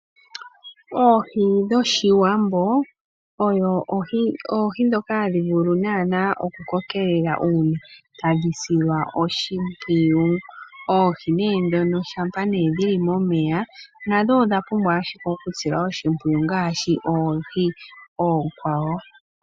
Oohi dhOshiwambo odho oohi dhoka hadhi vulu naana okukokelela uuna tadhi silwa oshimpwiyu. Oohi nee dhono shampa nee dhi li momeya nadho odha pumbwa ashike okusilwa oshimpwiyu ngaashi oohi oonkwawo.